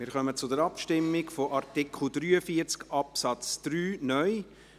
Wir kommen zur Abstimmung zu Artikel 43 Absatz 3 (neu).